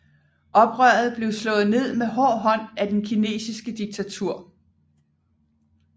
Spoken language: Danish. Oprøret blev slået ned med hård hånd af det kinesiske diktatur